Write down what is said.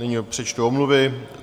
Nyní přečtu omluvy.